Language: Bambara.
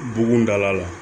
Bugun dala la